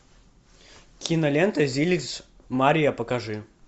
кинолента зильс мария покажи